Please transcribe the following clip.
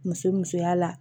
Muso musoya la